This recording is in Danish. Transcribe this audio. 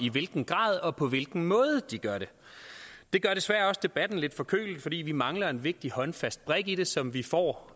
i hvilken grad og på hvilken måde de gør det det gør desværre også debatten lidt forkølet fordi vi mangler en vigtig håndfast brik i det som vi får